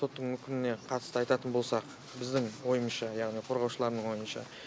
соттың үкіміне қатысты айтатын болсақ біздің ойымызша яғни қорғаушылардың ойынша